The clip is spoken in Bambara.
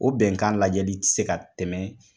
O bɛnkan lajɛli tɛ se ka tɛmɛ